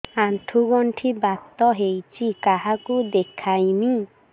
ଆଣ୍ଠୁ ଗଣ୍ଠି ବାତ ହେଇଚି କାହାକୁ ଦେଖାମି